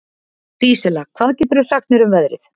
Dísella, hvað geturðu sagt mér um veðrið?